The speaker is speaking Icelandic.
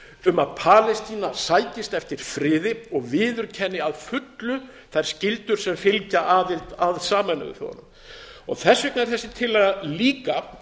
um að palestína sækist eftir friði og viðurkenni að fullu þær skyldur sem fylgja aðild að sameinuðu þjóðunum þess vegna er þessi tillaga líka